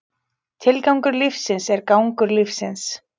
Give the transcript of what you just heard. Tilgangur lífsins er gangur lífsins.